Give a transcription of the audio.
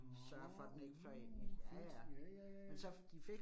Nåh uh fedt, ja ja ja ja